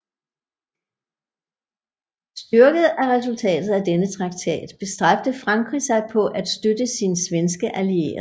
Styrket af resultatet af denne traktat bestræbte Frankrig sig på at støtte sin svenske allierede